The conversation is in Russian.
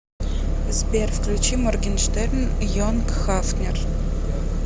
сбер включи моргенштерн йонг хафнер